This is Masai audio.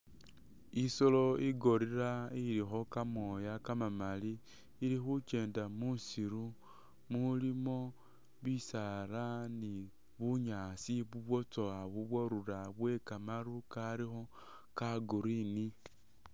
Isolo i gorilla ilikho kamooya kama mali ili khukyenda mu siru umulimo bisaala ni bunyaasi bu bwatsowa bu bwarura bwe kamaru kali ka green.